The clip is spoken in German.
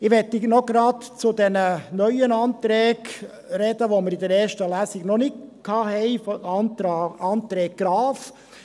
Ich möchte gleich noch zu den neuen Anträgen sprechen, die wir in der ersten Lesung noch nicht hatten: die Anträge Graf.